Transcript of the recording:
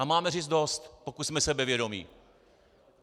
A máme říct dost, pokud jsme sebevědomí.